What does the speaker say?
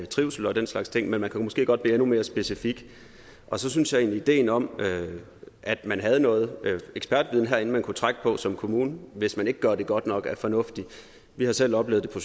trivsel og den slags ting men man kan måske godt blive endnu mere specifik så synes jeg egentlig ideen om at man havde noget ekspertviden herinde man kunne trække på som kommune hvis man ikke gør det godt nok er fornuftig vi har selv oplevet det